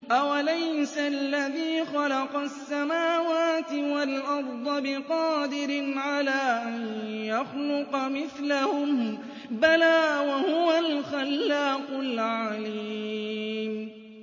أَوَلَيْسَ الَّذِي خَلَقَ السَّمَاوَاتِ وَالْأَرْضَ بِقَادِرٍ عَلَىٰ أَن يَخْلُقَ مِثْلَهُم ۚ بَلَىٰ وَهُوَ الْخَلَّاقُ الْعَلِيمُ